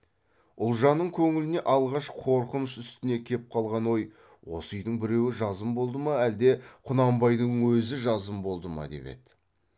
ұлжанның көңіліне алғаш қорқыныш үстінде кеп қалған ой осы үйдің біреуі жазым болды ма әлде құнанбайдың өзі жазым болды ма деп еді